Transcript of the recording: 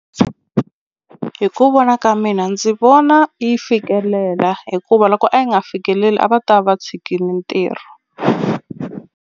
Ku vona ka mina ndzi vona yi fikelela hikuva loko a yi nga fikeleli a va ta va va tshikile ntirho.